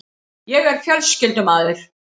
Ég er fjölskyldumaður.